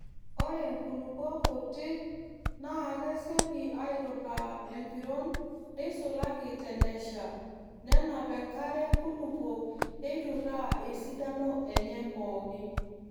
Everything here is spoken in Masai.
Ore nkulupuok kutik naa kesioki aaiturraa empiron neisulaki tenesha nenap enkare nkulupuok neiturraa esidano enye pooki.